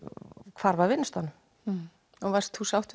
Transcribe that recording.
hvarf af vinnustaðnum og varstu sátt